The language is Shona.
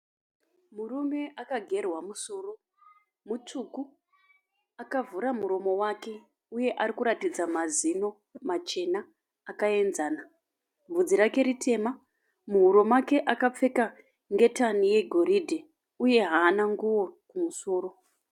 Murume akagerwa musoro, mutsvuku akavhura muromo wake uye ari kuratidza mazino machena akaenzana. Bvudzi rake ritema. Muhuro make akapfeka ngetani yegoridhe uye haana nguo kumusoro.